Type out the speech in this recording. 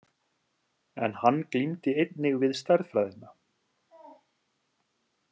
En hann glímdi einnig við stærðfræðina.